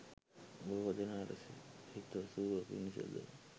බොහෝ දෙනාට හිතසුව පිණිස ද